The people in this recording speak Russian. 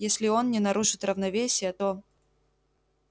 если и он не нарушит равновесия то